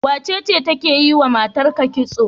Wacece take yiwa matarka kitso?